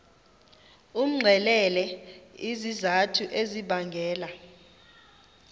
umxelele izizathu ezibangela